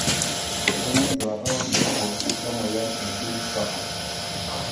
Kanyio enduata wobulabu lemoyian e Binswanger's?